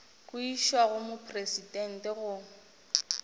go išwa go mopresidente go